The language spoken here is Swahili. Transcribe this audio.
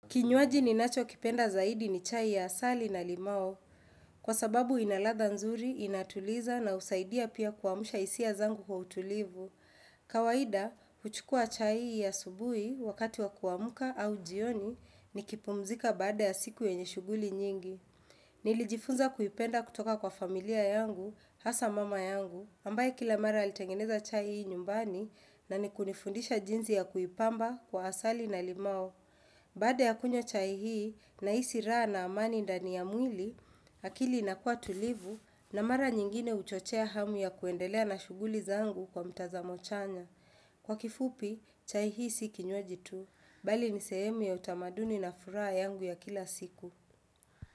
Kinywaji ninacho kipenda zaidi ni chai ya asali na limao Kwa sababu inaladha nzuri, inatuliza na husaidia pia kuamusha hisia zangu kwa utulivu Kawahida, huchukua chai ya asubui wakati wa kuamuka au jioni ni kipumzika baada ya siku yenye shuguli nyingi Nilijifunza kuipenda kutoka kwa familia yangu, hasa mama yangu ambaye kila mara alitangeneza chai hii nyumbani na ni kunifundisha jinsi ya kuipamba kwa asali na limau Baada ya kunywa chai hii nahisi raha na amani ndani ya mwili, akili inakuwa tulivu na mara nyingine huchochea hamu ya kuendelea na shuguli zangu kwa mtazamo chanya. Kwa kifupi, chai hii si kinywaji tu, bali ni sehemu ya utamaduni na furaha yangu ya kila siku.